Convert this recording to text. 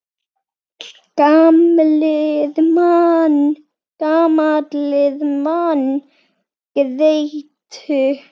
Gamlir menn grétu.